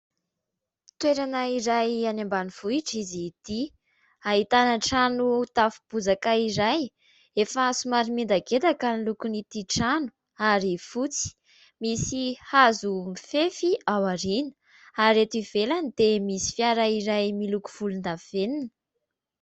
Toerana iray any ambanivohitra izy ity. Ahitana trano tafo bozaka iray, efa somary miendakendaka ny lokon' ity trano ary fotsy, misy hazo mifefy ao aoriana ary eto ivelany dia misy fiara iray miloko volondavenona.